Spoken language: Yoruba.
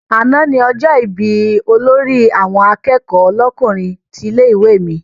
Àná ni ọjọ́ ìbí olórí àwọn akẹ́kọ̀ọ́ lọ́kùnrin tilé-ìwé mi.